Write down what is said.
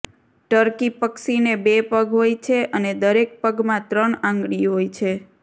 turkey પક્ષીને બે પગ હોય છે અને દરેક પગમાં ત્રણ આંગળી હોય છે